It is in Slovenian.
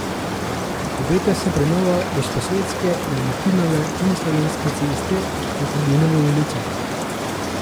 Obeta se prenova Gosposvetske, Dalmatinove in Slovenske ceste do Trdinove ulice.